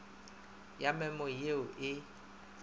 ya memo ye o e